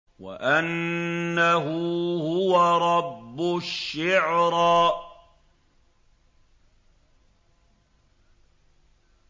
وَأَنَّهُ هُوَ رَبُّ الشِّعْرَىٰ